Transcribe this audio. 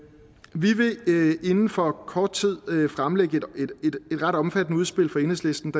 vi vil inden for kort tid fremlægge et ret omfattende udspil fra enhedslistens